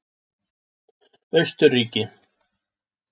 Austurríki